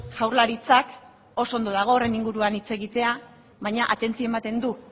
jaurlaritzak oso ondo dago horren inguruan hitz egitea baina atentzioa ematen du